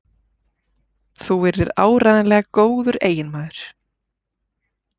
Þú yrðir áreiðanlega góður eiginmaður.